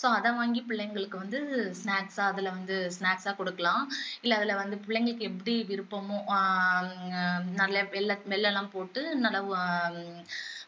so அதை வாங்கி பிள்ளைங்களுக்கு வந்து snacks ஆ அதுல வந்து snacks ஆ குடுக்கலாம் இல்ல அதுல வந்து பிள்ளைங்களுக்கு எப்படி விருப்பமோ ஆஹ் நல்ல எல்லா smell எல்லாம் போட்டு நல்லா